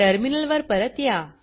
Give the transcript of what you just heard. टर्मिनलवर परत या